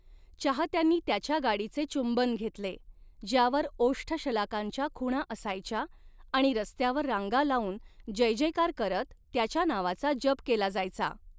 चाहत्यांनी त्याच्या गाडीचे चुंबन घेतले, ज्यावर ओष्ठशलाकांच्या खुणा असायच्या आणि रस्त्यावर रांगा लाऊन जयजयकार करत त्याच्या नावाचा जप केला जायचा.